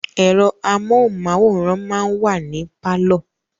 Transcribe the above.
Ẹ̀rọ amóhunmáwòrán máa ń wà ní pálọ̀